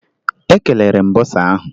Ekelere m bọsa ahụ